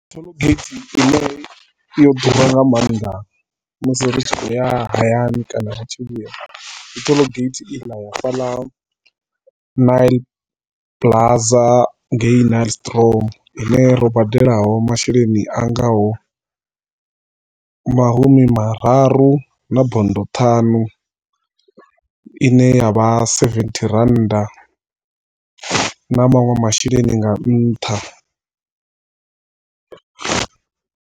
Toll gate ine yo ḓura nga maanḓa musi ri tshi khou ya hayani kana ri tshi vhuya, ndi toll gate i ḽa ya fhaḽa Nyl Plaza ngei Nylstroom, i ne ro badelaho masheleni anga ho mahumi mararu na bondo ṱhanu ine ya vha sevethi randa na manwe masheleni nga ntha.